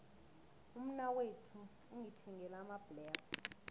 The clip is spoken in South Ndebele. umnakwethu ungithengele amabhlere